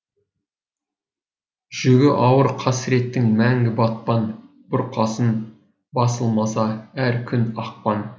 жүгі ауыр қасіреттің мәңгі батпан бұрқасын басылмаса әр күн ақпан